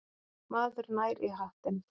Maður nær í hattinn.